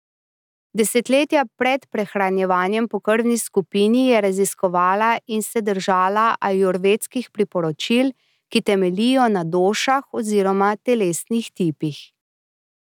Desetletja pred prehranjevanjem po krvni skupini je raziskovala in se držala ajurvedskih priporočil, ki temeljijo na došah oziroma telesnih tipih.